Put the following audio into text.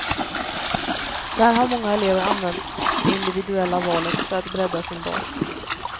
Där har många elever använt det individuella valet för att bredda sin bas.